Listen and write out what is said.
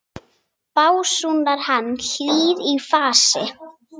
básúnar hann, hlýr í fasi.